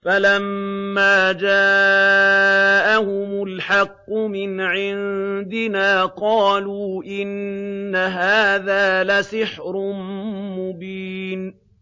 فَلَمَّا جَاءَهُمُ الْحَقُّ مِنْ عِندِنَا قَالُوا إِنَّ هَٰذَا لَسِحْرٌ مُّبِينٌ